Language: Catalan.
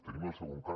tenim el segon cas